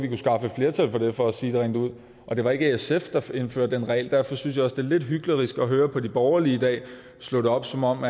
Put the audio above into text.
flertal for det for at sige det rent ud og det var ikke sf der indførte den regel derfor synes jeg også det er lidt hyklerisk at høre de borgerlige i dag slå det op som om